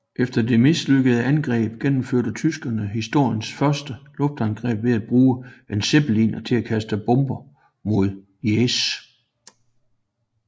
Efter dette mislykkede angreb gennemførte tyskerne historiens første luftangreb ved at bruge en Zeppeliner til at kaste bomber mod Liège